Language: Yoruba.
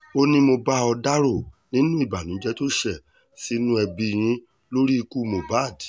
ó ní mo bá ò dárò nínú ìbànújẹ́ tó ṣe sínú ẹbí yín lórí ikú mohbad